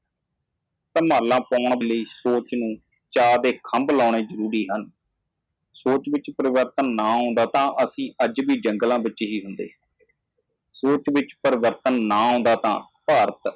ਸੋਚ ਨੂੰ ਪਿਆਰ ਦੇ ਖੰਭ ਦੇਣ ਦੀ ਲੋੜ ਹੈ ਜੇਕਰ ਸੋਚ ਵਿੱਚ ਕੋਈ ਬਦਲਾਅ ਨਹੀਂ ਆਇਆ ਅਸੀਂ ਅਜੇ ਵੀ ਜੰਗਲ ਵਿੱਚ ਹੋਵਾਂਗੇ ਸੋਚ ਨਾ ਬਦਲੀ ਤਾਂ ਭਾਰਤ